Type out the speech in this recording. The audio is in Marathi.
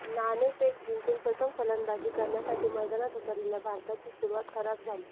नाणेफेक जिंकून प्रथम फलंदाजी करण्यासाठी मैदानात उतरलेल्या भारताची सुरुवात खराब झाली